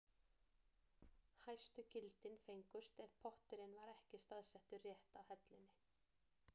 Hæstu gildin fengust ef potturinn var ekki staðsettur rétt á hellunni.